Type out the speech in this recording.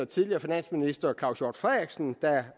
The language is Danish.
tidligere finansminister herre claus hjort frederiksen der